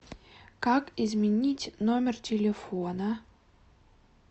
как изменить номер телефона